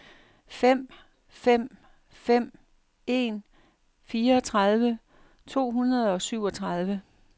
fem fem fem en fireogtredive to hundrede og syvogtredive